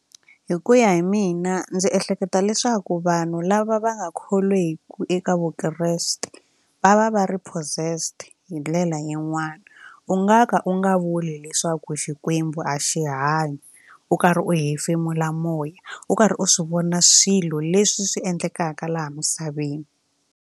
Hi ku ya hi mina ndzi ehleketa leswaku vanhu lava va nga kholweki eka vukreste va va va ri possessed hi ndlela yin'wani u nga ka u nga vuli leswaku Xikwembu a xi hanyi u karhi u hefemula moya u karhi u swi vona swilo leswi swi endlekaka laha misaveni.